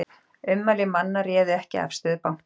Ummæli manna réðu ekki afstöðu banka